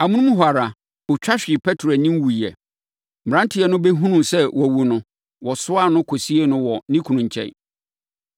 Amonom hɔ ara, ɔtwa hwee Petro anim wuiɛ. Mmeranteɛ no bɛhunuu sɛ wawu no, wɔsoaa no, kɔsiee no wɔ ne kunu nkyɛn.